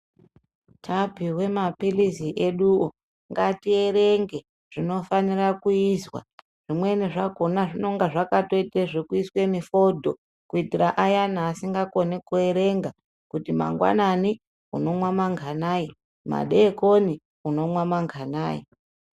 Tapihwe mapilizi eduwo ngati erenge zvino fanira kuizwa zvimweni zvakona zvinonga zvakato ite zveku iswe mifodho ku itira ayana asinga koni ku erenga kuti mangwanani unomwa manganai madekoni unomwa manganai.